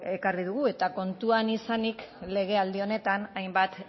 ekarri dugu eta kontuan izanik legealdi honetan hainbat